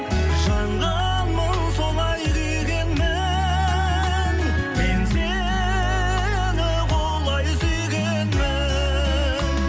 жанғанмын солай күйгенмін мен сені құлай сүйгенмін